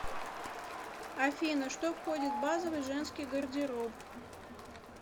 афина что входит в базовый женский гардероб